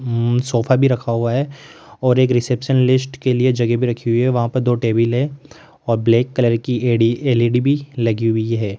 अं sofa भी रखा हुआ है और एक रिसेप्शन लिस्ट के लिए जगह भी रखी हुई है वहां पे दो टेबिल हैं और ब्लैक कलर की एड़ी एल_ई_डी भी लगी हुई है।